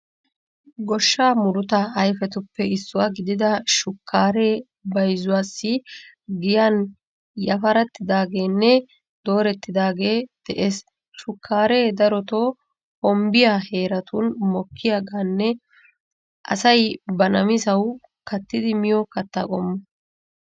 Goshshaa murutaa ayifetuppe issuwa gidida shukkaare bayizuwaassi giyaan yafarettidaageenne doorettidaagee de'ees. Shukkaaree darotoo hombbiya heeratun mokkiyagaaninne asay ba namisawu kattidi miyo katta qommo.